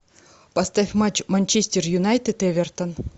поставь матч манчестер юнайтед эвертон